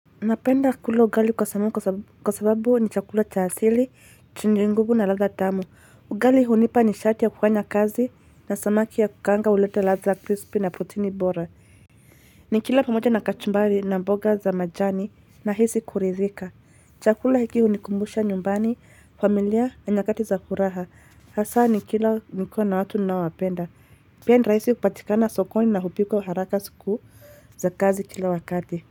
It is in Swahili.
Napenda kula ugali kwa sababu ni chakula cha asili, chenye nguvu na ladha tamu. Ugali hunipa nishati ya kufanya kazi na samaki ya kukaanga huleta ladha ya crispy na protini bora. Nikila pamoja na kachumbari na mboga za majani nahisi kuridhika. Chakula hiki hunikumbusha nyumbani, familia na nyakati za furaha. Hasa nikila nikiwa na watu ninaowapenda. Pia ni rahisi kupatikana sokoni na hupikwa haraka siku za kazi kila wakati.